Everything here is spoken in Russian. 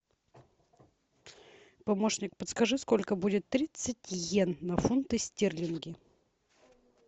помощник подскажи сколько будет тридцать йен на фунты стерлинги